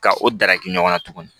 Ka o darakɛ ɲɔgɔn na tuguni